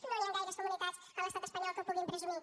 no hi han gaires comunitats a l’estat espanyol que en puguin presumir